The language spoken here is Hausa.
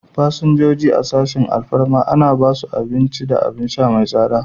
Fasinjoji a sashin alfarma ana ba su abin ci da abin sha mai tsada.